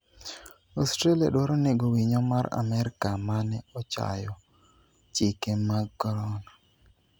Australia dwaro nego winyo mar amerka mane ochayo chike mag korona